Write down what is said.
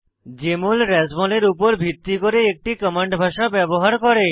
JML রাসমল এর উপর ভিত্তি করে একটি কমান্ড ভাষা ব্যবহার করে